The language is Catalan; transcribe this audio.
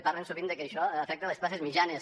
parlen sovint que això afecta a les classes mitjanes